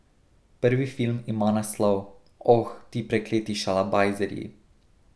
Prvi film ima naslov Oh, ti prekleti šalabajzerji.